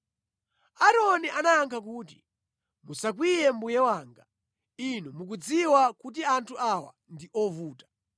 Aaroni anayankha kuti, “Musakwiye mbuye wanga. Inu mukudziwa kuti anthu awa ndi ovuta.